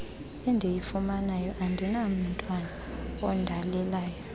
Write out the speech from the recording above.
endiyifunayo andinamntwana ondalelelayo